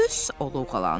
O loğalandı.